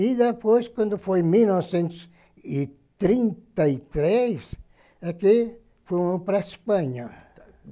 E depois, quando foi em mil novecentos e trinta e três, é que foram para a Espanha.